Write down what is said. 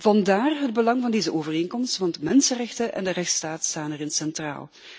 Vandaar het belang van deze overeenkomst, want mensenrechten en de rechtsstaat staan erin centraal.